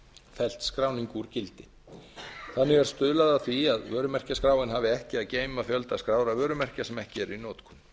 fellt skráningu úr gildi þannig er stuðlað að því að vörumerkjaskráin hafi ekki að geyma fjölda skráðra vörumerkja sem ekki eru í notkun